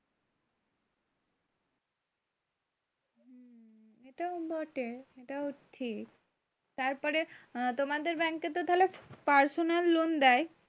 এটাও বটে। এটাও ঠিক। তারপর তোমাদের bank এ তো থালে personal loan দেয়?